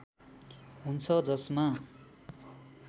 हुन्छ जसमा